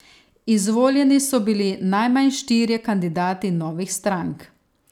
Izvoljeni so bili najmanj štirje kandidati novih strank.